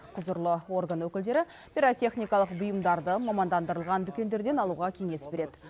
құзырлы орган өкілдері пиротехникалық бұйымдарды мамандандырылған дүкендерден алуға кеңес береді